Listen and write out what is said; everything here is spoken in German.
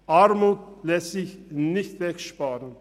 Armut lässt sich nicht wegsparen.